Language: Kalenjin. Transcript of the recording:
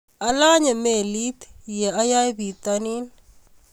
Alanye melit ye ayae bitanin